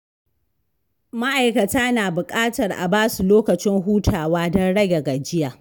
Ma’aikata na buƙatar a ba su lokacin hutawa don rage gajiya.